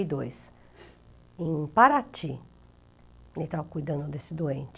dois. Em Paraty, ele estava cuidando desse doente.